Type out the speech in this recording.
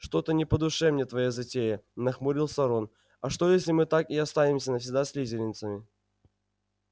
что-то не по душе мне твоя затея нахмурился рон а что если мы так и останемся навсегда слизеринцами